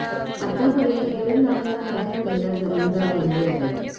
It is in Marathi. आतापर्यंत दीड लाखाहून अधिक महिला जमीनदार बनली आहेत